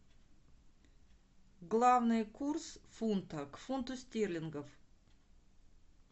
главный курс фунта к фунту стерлингов